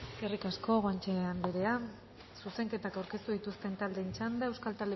eskerrik asko guanche andrea zuzenketak aurkeztu dituzten taldeen txanda euskal